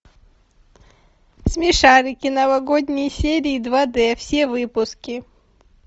смешарики новогодние серии два д все выпуски